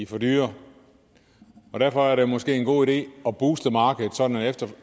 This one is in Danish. for dyre og derfor er det måske en god idé at booste markedet sådan at